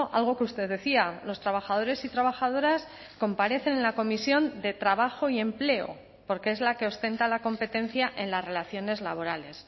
algo que usted decía los trabajadores y trabajadoras comparecen en la comisión de trabajo y empleo porque es la que ostenta la competencia en las relaciones laborales